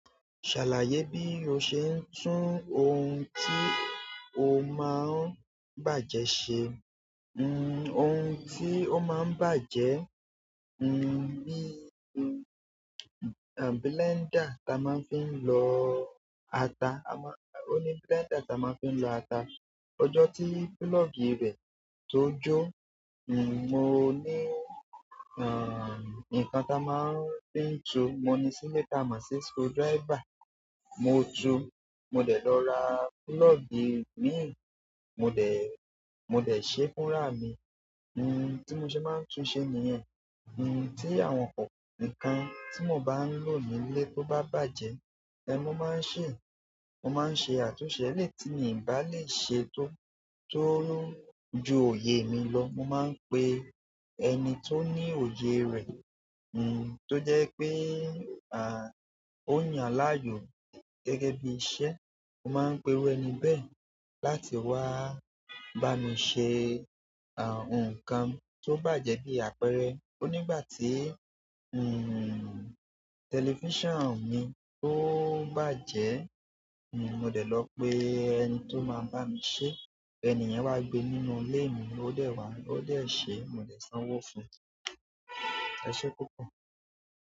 Ṣàlàyé bí o ṣe ń tún ohun tí o máa ń bàjẹ́ ṣe. Ohun tí ó máa ń bàjẹ́, bi blender tí a máa ń fi lọ ata. O ní blender tí a máa ń fi lọ ata. Ọjọ́ tí púlọ̀gì rẹ̀ tó jó, mo ní nǹkan tí a máa ń fi ń ju. Mo ní sílé tí a máa ń ṣe screwdriver. Mo túu mo dẹ̀ lọ rà pulọgi mì. Mo dé, mo dé ṣe fúnra mi. Hmm tí mo ṣe máa ń tún ṣe nìyẹn. Hmm tí àwọn nǹkan tí mo bá ń lò nílé tó bá bàjẹ́, ẹ, mo máa ń ṣe, mo máa ń ṣe àtúnṣe eleyi tí mi bá lè ṣe tó, tó ju òye mi lọ. Mo máa ń pe ẹni tó ní òye rẹ̀, nǹ tí ó jẹ́ pé, a, ó yàn láàyò gẹ́gẹ́ bí iṣẹ́. Mo máa ń pe irú ẹni bẹ́ẹ̀ láti wá bá mi ṣe, a, ohun kan tó bàjẹ́ bí àpẹrẹ. Ó nígbà tí, hmm, tẹlifíṣàn mi tó bàjẹ́, nǹ mo dé lọ pe ẹni tí ó máa bá mi ṣe. Ẹniyàn wá gbé nínú ilé mi. Ó dẹ̀ wá, ó dẹ̀ ṣe. Mo dé sanwó fún un. Ẹṣé púpọ̀.